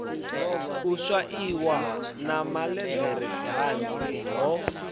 u swaiwa na malederedanzi ho